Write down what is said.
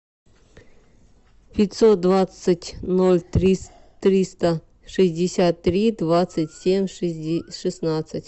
пятьсот двадцать ноль триста шестьдесят три двадцать семь шестнадцать